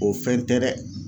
O fɛn tɛ dɛ